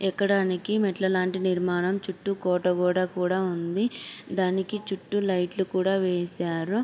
ఎక్కడానికి మెట్ల లాంటి నిర్మాణం చుట్టూ కోట కూడా ఉంది. దానికి చుట్టూ లైట్లు కూడా వేశారు.